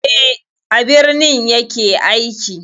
Eh, a birni ya ke aiki.